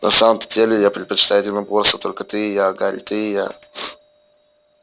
на самом-то деле я предпочитаю единоборство только ты и я гарри ты и я